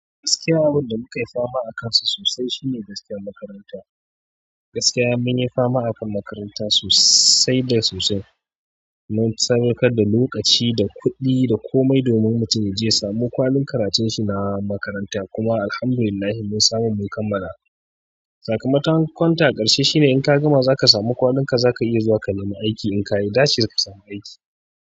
Gaskiya abin da muka yi fama akansa sosai shine gaskiyar makaranta. Gaskiya mun yi fama akan makaranta sosai da sosai. Mun saukar da lokaci da kuɗi da komai domin mutum ya je ya samu kwalin karatun shi na makaranta. Kuma Alhamdulillahi mun samu mun kammala. Sakamakon ta a ƙarshe shine in ka gama za ka samu kwalinka za ka iya zuwa ka nemi aiki. In ka yi dace za ka samu aiki.